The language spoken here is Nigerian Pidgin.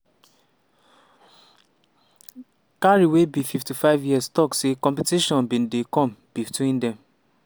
carey wey be 55 years tok say competition bin come between dem.